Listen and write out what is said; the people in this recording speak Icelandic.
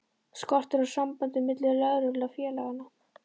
Skortir á samband milli lögreglu og félaganna?